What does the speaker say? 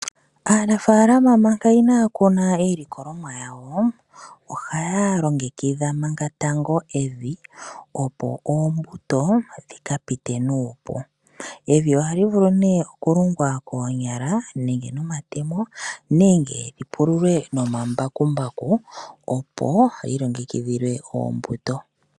Aanafalama manka iya kuna iilikolonwa yawo ohaya longitha manka tango evi opo oombuto dhika pite nuupu. Evi ohali vulu nee okulungwa konyala nenge nomatemo nenge lyi pululwe no omambakumbaku opo lilongekidhilwe oombuto.